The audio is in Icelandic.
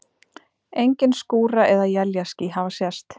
Engin skúra- eða éljaský hafa sést.